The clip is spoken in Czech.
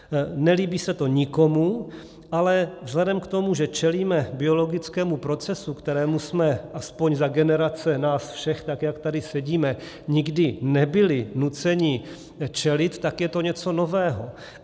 Nelíbí se to nikomu, ale vzhledem k tomu, že čelíme biologickému procesu, kterému jsme aspoň za generace nás všech, tak jak tady sedíme, nikdy nebyli nuceni čelit, tak je to něco nového.